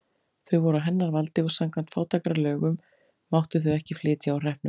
Þau voru á hennar valdi og samkvæmt fátækralögunum máttu þau ekki flytja úr hreppnum.